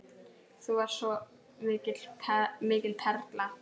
Þú varst svo mikil perla.